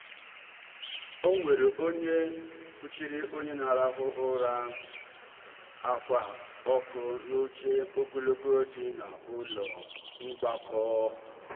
o nwere onye kpuchiri onye na-arahụ ụra ákwà ọkụ n'oche ogologo dị n'ụlọ mgbakọ.